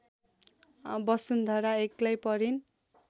वसुन्धरा एक्लै परिन्